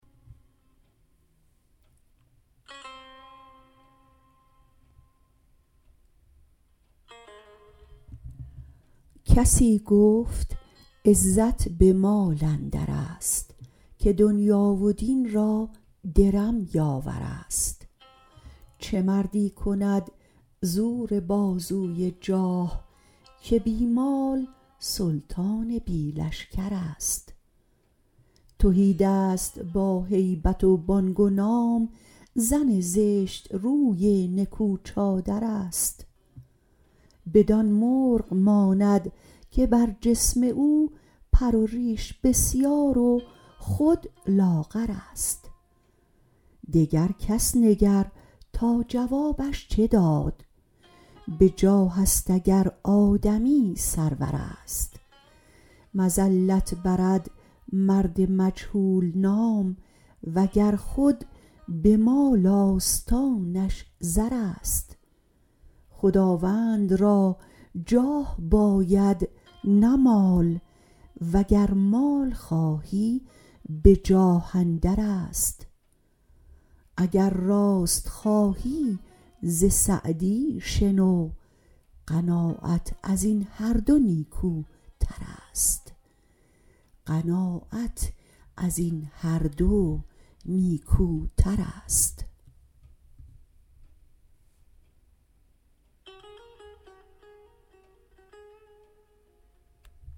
کسی گفت عزت به مال اندرست که دنیا و دین را درم یاورست چه مردی کند زور بازوی جاه که بی مال سلطان بی لشکرست تهیدست با هیبت و بانگ و نام زن زشتروی نکو چادرست بدان مرغ ماند که بر جسم او پر و ریش بسیار و خود لاغرست دگر کس نگر تا جوابش چه داد به جاهست اگر آدمی سرورست مذلت برد مرد مجهول نام وگر خود به مال آستانش زرست خداوند را جاه باید نه مال وگر مال خواهی به جاه اندرست اگر راست خواهی ز سعدی شنو قناعت از این هر دو نیکوترست